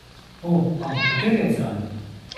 O, ampak kateri ocean?